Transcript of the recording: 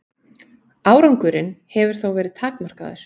Árangurinn hefur þó verið takmarkaður.